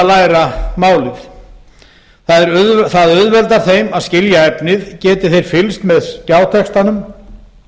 eru að læra málið það auðveldar þeim að skilja efnið geti þeir fylgst með skjátextanum